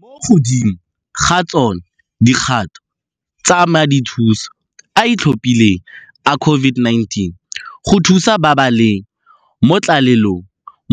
Mo godimo ga tsona, dikgato tsa Madithuso a a Itlhophileng a COVID-19 go Thusa ba ba leng mo Tlalelong